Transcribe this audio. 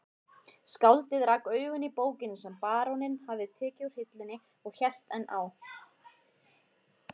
Skáldið rak augun í bókina sem baróninn hafði tekið úr hillunni og hélt enn á